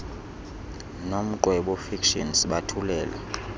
nomqwebo fiction sibathulela